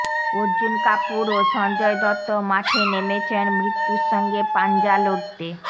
অর্জুন কাপুর ও সঞ্জয় দত্ত মাঠে নেমেছেন মৃত্যুর সঙ্গে পাঞ্জা লড়তে